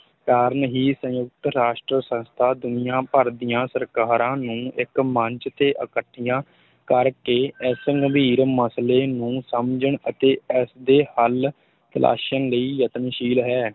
ਕਾਰਨ ਹੀ ਸੰਯੁਕਤ ਰਾਸ਼ਟਰ ਸੰਸਥਾ ਦੁਨੀਆ ਭਰ ਦੀਆਂ ਸਰਕਾਰਾਂ ਨੂੰ ਇੱਕ ਮੰਚ ਤੇ ਇਕੱਠੀਆਂ ਕਰ ਕੇ ਇਸ ਗੰਭੀਰ ਮਸਲੇ ਨੂੰ ਸਮਝਣ ਅਤੇ ਇਸ ਦੇ ਹਲ ਤਲਾਸ਼ਣ ਲਈ ਯਤਨਸ਼ੀਲ ਹੈ।